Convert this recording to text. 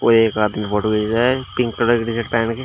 वो एक आदमी फोटो खिंच रहा है पिंक कलर की टी शर्ट पहन के।